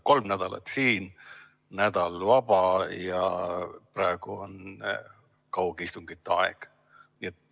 Kolm nädalat siin, nädal vaba, ja praegu on kaugistungite aeg.